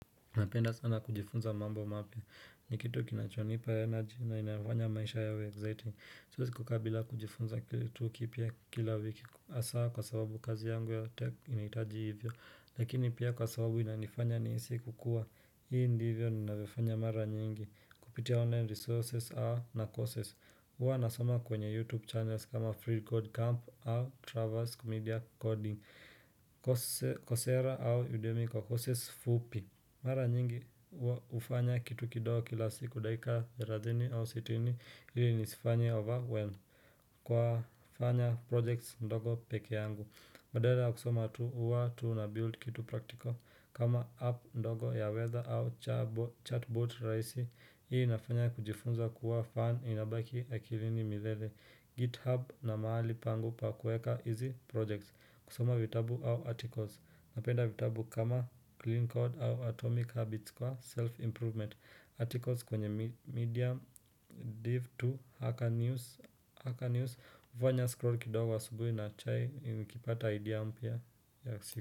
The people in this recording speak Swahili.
Napenda sana kujifunza mambo mapya ni kitu kinachonipa energy na inafanya maisha yawe exciting Siwezi kukaa bila kujifunza kitu kipya kila wiki hasaa kwa sababu kazi yangu ya tech initaji hivyo. Lakini pia kwa sababu inanifanya nihisi kukua. Hii ndivyo ninavyofanya mara nyingi. Kupitia online resources au na courses. Uwa nasoma kwenye YouTube channels kama Free Code Camp au Traverse Media Coding. Kocera au Udemi kwa courses fupi. Mara nyingi hufanya kitu kidogo kila siku dakika 30 au 60 ili nisifanye overwhelm Kwa fanya projects ndogo peke yangu badala ya kusoma tu uwa tu na build kitu practical kama app ndogo ya weather au chatbot raisi Hii nafanya kujifunza kuwa fan inabaki akilini mithede GitHub na maali pangu pa kueka izi projects kusoma vitabu au articles napenda vitabu kama clean code au atomic habits kwa self-improvement articles kwenye medium div to hacker news hacker news hufawanya scrolls kidogo asubuhi na chai nikipata idea mpya ya siku.